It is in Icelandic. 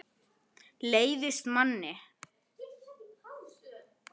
Leiðist manni?